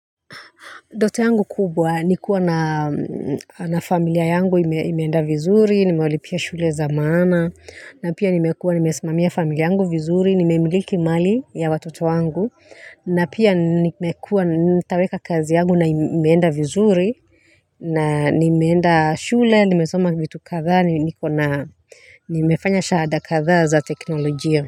Ndoto yangu kubwa, nikua na familia yangu imeenda vizuri, nimewalipia shule za maana, na pia nimekua nimesimamia familia yangu vizuri, nimemiliki mali ya watoto yangu, na pia nitaweka kazi yangu na imeenda vizuri, na nimeenda shule, nimesoma vitu kadhaa, nimefanya shahada kadhaa za teknolojia.